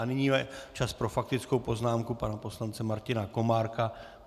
A nyní je čas pro faktickou poznámku pana poslance Martina Komárka.